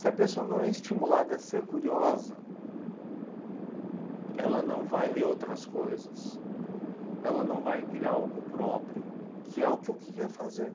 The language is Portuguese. Se a pessoa não é estimulada a ser curiosa, ela não vai ler outras coisas, ela não vai criar algo próprio, que é o que eu queria fazer.